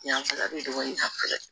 Yanfɛla bɛ dɔgɔnin a fɛ